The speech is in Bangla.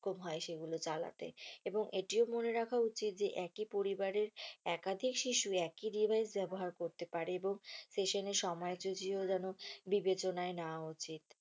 হয় সেগুলি চালাতে এবং এটিও মনে রাখা উচিত যে একই পরিবারের একাধিক শিশু একই device ব্যাবহার করতে পারে এবং session এর সময় সূচীও যেন বিবেচনায় নেওয়া উচিত।